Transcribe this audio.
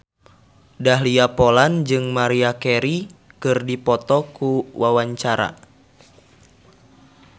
Dahlia Poland jeung Maria Carey keur dipoto ku wartawan